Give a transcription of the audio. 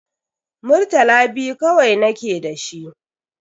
Murtala biyu kawai nake da shi.